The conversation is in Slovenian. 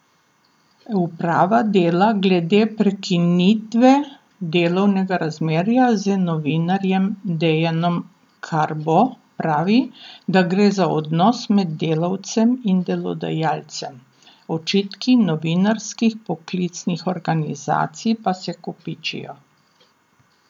Uprava Dela glede prekinitve delovnega razmerja z novinarjem Dejanom Karbo pravi, da gre za odnos med delavcem in delodajalcem, očitki novinarskih poklicnih organizacij pa se kopičijo.